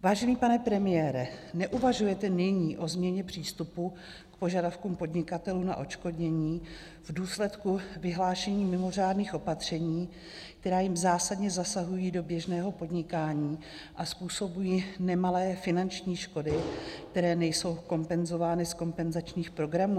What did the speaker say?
Vážený pane premiére, neuvažujete nyní o změně přístupu k požadavkům podnikatelů na odškodnění v důsledku vyhlášení mimořádných opatření, která jim zásadně zasahují do běžného podnikání a způsobují nemalé finanční škody, které nejsou kompenzovány z kompenzačních programů?